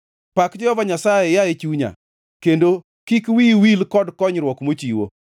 Pak Jehova Nyasaye, yaye chunya, kendo kik wiyi wil gi konyruok mochiwo,